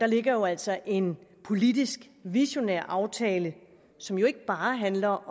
ligger altså en politisk visionær aftale som ikke bare handler